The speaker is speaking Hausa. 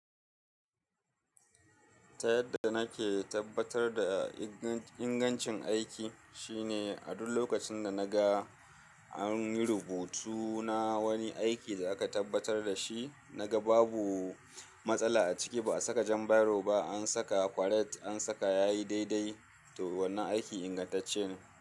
Ta yadda nake tabbatar da ingancin aiki shine a duk lokacin da na ga an yi rubutu na wani aiki da aka tabbatar da shi, na ga babu matsala a ciki, ba a saka jan bairo ba, an saka kwaret, an saka yayi daidai, to wannan aiki ingantacce ne.